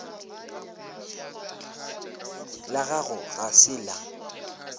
la gago ga se la